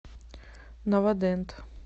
новодент